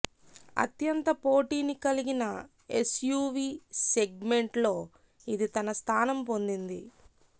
అత్యంత పోటీని కలిగిన ఎస్యువి సెగ్మెంట్ లో ఇది తన స్థానం పొందింది